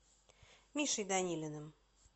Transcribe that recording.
мишей данилиным